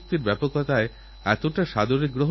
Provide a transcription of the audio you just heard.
আমার বিশ্বাস আপনিঅবশ্যই সামিল হবেন